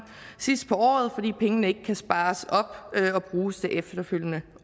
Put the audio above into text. sidst på året fordi pengene ikke kan spares op og bruges det efterfølgende